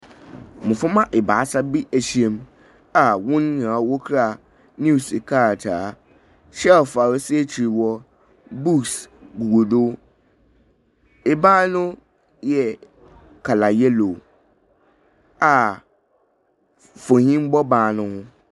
Mboframba ebaasa bi ahyiam a hɔn nyinaa wokura news krataa. Shelve a osi ekyir hɔ, books gugu do. Ban no yɛ colour yellow a mfonyin bɔ ban noho.